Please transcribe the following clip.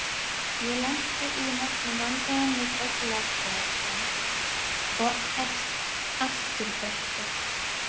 Ég lenti í nokkrum vandræðum með bögglaberann og afturbrettið.